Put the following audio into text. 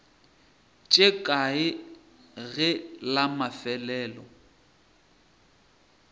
tše kae ge la mafelelo